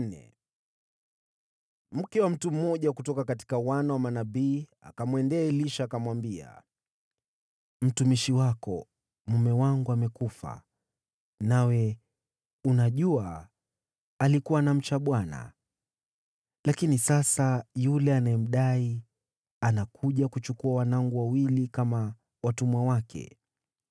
Mke wa mmoja wa wana wa manabii akamlilia Elisha, akamwambia, “Mtumishi wako, mume wangu, amekufa, nawe unajua alikuwa anamcha Bwana . Lakini sasa yule anayemdai anakuja kuchukua wanangu wawili kama watumwa wake.”